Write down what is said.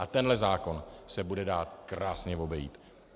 A tenhle zákon se bude dát krásně obejít.